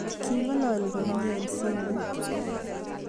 King'alali komyee eng simet